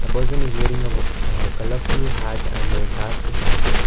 person is wearing a w-a colourful hat and a dark jacket.